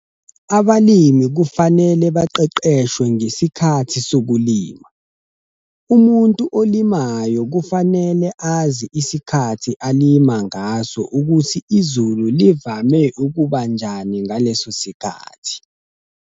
Abalimi kufanele baqeqeshwe ngesikhathi sokulima. Umuntu olimayo kufanele azi isikhathi alima ngaso ukuthi izulu livame ukuba njani ngaleso sikhathi.